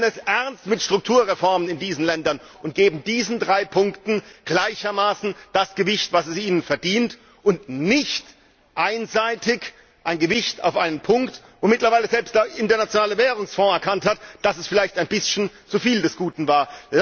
Und wir nehmen es ernst mit Strukturreformen in diesen Ländern und geben diesen drei Punkten gleichermaßen das Gewicht, das sie verdienen, und nicht einseitig ein Gewicht auf einen Punkt, wo mittlerweile sogar der International Währungsfonds erkannt hat, dass es vielleicht ein bisschen zu viel des Guten war.